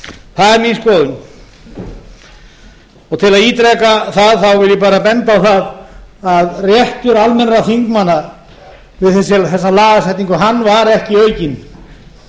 það er mín skoðun til að ítreka það vil ég bara benda á það að réttur almennra þingmanna við þessa lagasetningu var ekki aukinn